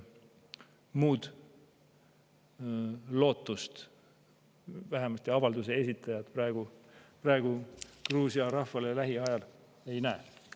Muud lootust vähemasti avalduse esitajad praegu Gruusia rahval lähiajal ei näe.